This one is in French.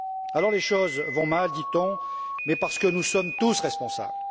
Alors, les choses vont mal, dit on, mais parce que nous sommes tous responsables.